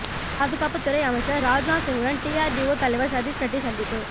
பாதுகாப்புத்துறை அமைச்சர் ராஜ்நாத் சிங்குடன் டிஆர்டிஓ தலைவர் சதீஷ் ரெட்டி சந்திப்பு